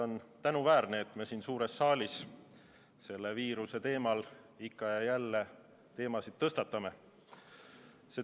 On tänuväärne, et me siin suures saalis selle viiruse teema ikka ja jälle tõstatame.